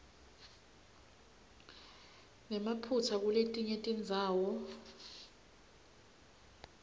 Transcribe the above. nemaphutsa kuletinye tindzawo